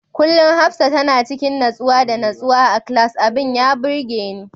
Kullum Hafsah tana cikin nutsuwa da nutsuwa a class, abin ya burgeni.